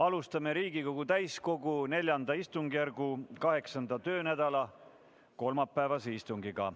Alustame Riigikogu täiskogu IV istungjärgu 8. töönädala kolmapäevast istungit.